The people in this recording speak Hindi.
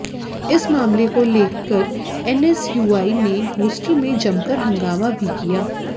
इस मामले को लेकर एनएसयूआई ने हॉस्टल में जमकर हंगामा भी किया